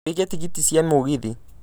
wiĩge tigiti cia mũgithi